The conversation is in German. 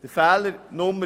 Fehler 4: